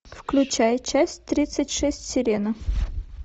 включай часть тридцать шесть сирена